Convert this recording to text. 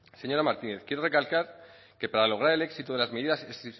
señora martínez quiero recalcar que para lograr el éxito de las medidas es